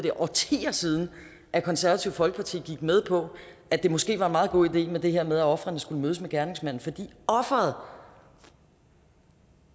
er årtier siden at konservative folkeparti gik med på at det måske var en meget god idé at offeret skulle mødes med gerningsmanden fordi offeret